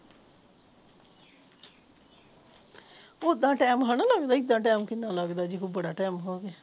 ਓਦਾ ਟਾਈਮ ਹਣਾ ਲੱਗਦਾ ਏਦਾਂ ਟਾਈਮ ਕਿੰਨਾ ਲੱਗਦਾ ਜਿਓ ਬੜਾ ਟਾਈਮ ਹੋ ਗਿਆ